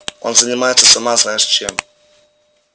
он занимается сама знаешь чем